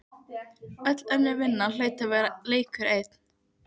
Öll önnur vinna hlaut að vera leikur einn